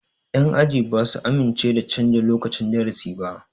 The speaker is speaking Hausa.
Yan aji ba su amince da canja lokacin darasi ba